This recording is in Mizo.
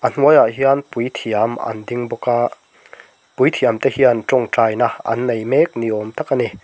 a hnuai ah hian puithiam an ding bawk a puithiam te hian tawngtaina an nei mek ni awm tak a ni.